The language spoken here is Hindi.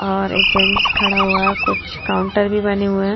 और एक जेन्ट्स खडा हुआ है और कुछ काउन्टर भी बने हुए है।